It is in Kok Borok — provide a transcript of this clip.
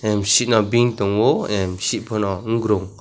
misipno beng tongo misip phano hungrung.